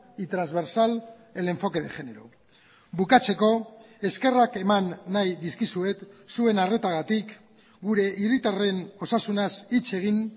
y transversal el enfoque de género bukatzeko eskerrak eman nahi dizkizuet zuen arretagatik gure hiritarren osasunaz hitz egin